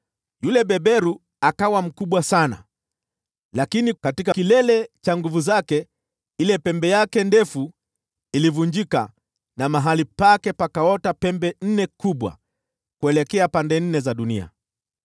Yule beberu akawa mkubwa sana, lakini katika kilele cha nguvu zake ile pembe yake ndefu ilivunjika, na mahali pake pakaota pembe nne kubwa kuelekea pande nne za dunia.